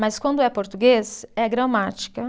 Mas quando é português, é gramática.